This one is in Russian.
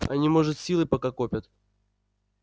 они может силы пока копят